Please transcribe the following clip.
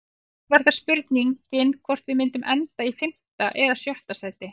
Áður var það spurningin hvort við myndum enda í fimmta eða sjötta sæti.